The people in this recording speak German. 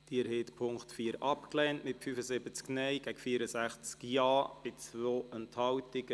Sie haben den Punkt 4 abgelehnt mit 75 Nein- gegen 64 Ja-Stimmen bei 2 Enthaltungen.